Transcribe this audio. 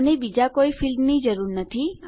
અને બીજા કોઈ ફીલ્ડની જરૂર નથી